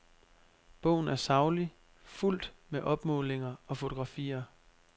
Bogen er saglig, fuldt med opmålinger og fotografier.